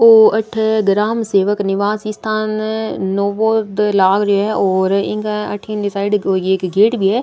ओ अठ ग्रामसेवक निवास स्थान नोबोद लाग रो है और इंग अठीन साइड कोई एक गेट भी है।